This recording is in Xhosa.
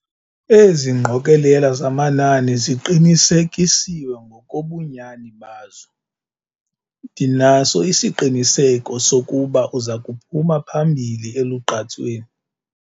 Ezi ngqokelela zamanani ziqinisekisiwe ngokobunyani bazo. ndinaso isiqiniseko sokuba uza kuphuma phambili elugqatsweni